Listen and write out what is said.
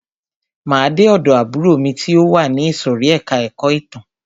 Máa de ọ̀dọ̀ àbúrò mi ti o wà ní ìsòrí ẹka ẹ̀kọ́ ìtàn.